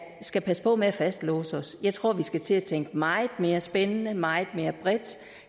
skal passe på med at fastlåse os jeg tror vi skal til at tænke meget mere spændende og meget mere bredt